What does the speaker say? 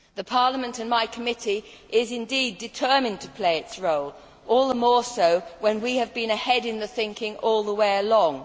Parliament and my committee are indeed determined to play their role, all the more so when we have been ahead in the thinking all the way along.